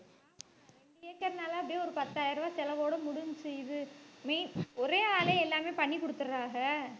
கேக்குறதுனால அப்படியே ஒரு பத்தாயிரம் ரூபாய் செலவோட முடிஞ்சுச்சு இது ஒரே ஆளே எல்லாமே பண்ணி கொடுத்துடுறாங்க.